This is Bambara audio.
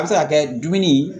A bɛ se ka kɛ dumuni